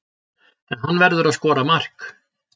En hann verður að skora mark.